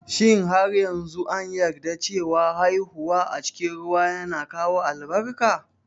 Shin har yanzu an yarda cewa haihuwa a cikin ruwa yana kawo albarka?